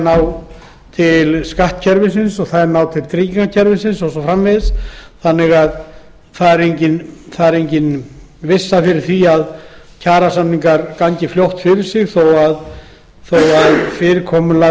ná til skattkerfisins tryggingakerfisins og svo framvegis þannig að engin vissa er fyrir því að kjarasamningar gangi fljótt fyrir sig fyrirkomulag